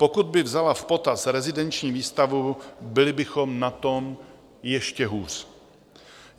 Pokud by vzala v potaz rezidenční výstavbu, byli bychom na tom ještě hůř.